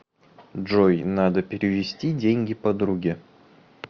джой надо перевести деньги подруге